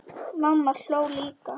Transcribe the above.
Mamma hló líka.